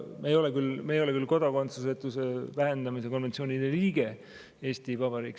Eesti Vabariik ei ole küll kodakondsusetuse vähendamise konventsioonide osaline.